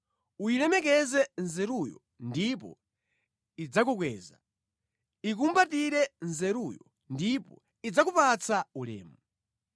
Uyilemekeze nzeruyo ndipo idzakukweza; ikumbatire nzeruyo ndipo idzakupatsa ulemu.